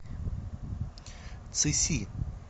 цыси